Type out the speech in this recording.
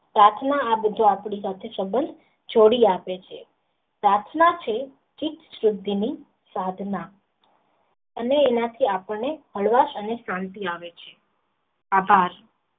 પ્રાર્થના આપણી પાસે સબંધ જોડી આપે છે પ્રથા એક સુધી ની સાધના અને આમાંથી હળવાશ અને શાંતિ આવે છે આભાર.